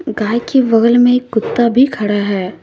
गाय के बगल में एक कुत्ता भी खड़ा है।